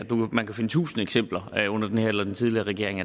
man kan finde tusinde eksempler og under den her eller den tidligere regering